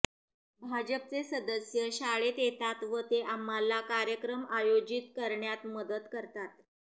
भाजपचे सदस्य शाळेत येतात व ते आम्हाला कार्यक्रम आयोजित करण्यात मदत करतात